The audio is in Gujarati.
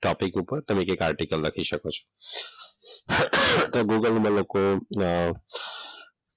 ટોપીક ઉપર તમે એક આર્ટિકલ લખી શકો છો. google માં લખો. અમ